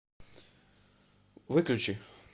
выключи